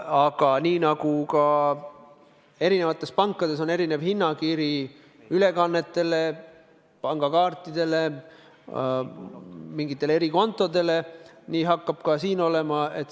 Aga nii nagu pankades on erinev hinnakiri ülekannete, pangakaartide, mingite erikontode jaoks, nii hakkab ka sellega olema.